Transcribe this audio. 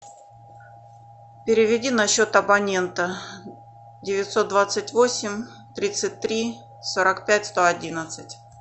переведи на счет абонента девятьсот двадцать восемь тридцать три сорок пять сто одиннадцать